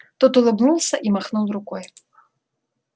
тот улыбнулся и махнул рукой